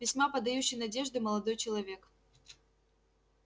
весьма подающий надежды молодой человек